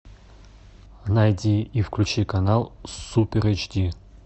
найди и включи канал супер эйч ди